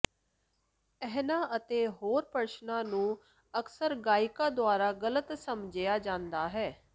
ਇਹਨਾਂ ਅਤੇ ਹੋਰ ਪ੍ਰਸ਼ਨਾਂ ਨੂੰ ਅਕਸਰ ਗਾਇਕਾਂ ਦੁਆਰਾ ਗਲਤ ਸਮਝਿਆ ਜਾਂਦਾ ਹੈ